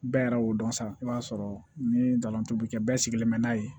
Bɛɛ yɛrɛ y'o dɔn sa i b'a sɔrɔ ni dalan tobi kɛ bɛɛ sigilen bɛ n'a ye